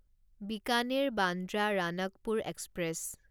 Bikaner Bandra Ranakpur express